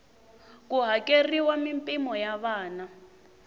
ku hakeriwa mimpimo ya vana